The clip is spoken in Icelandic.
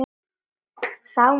Sámur frændi